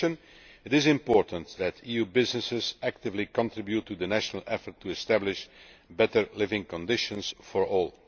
In addition, it is important that EU businesses actively contribute to the national effort to establish better living conditions for all.